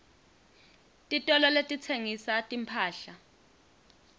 titolo letitsengisa timphahla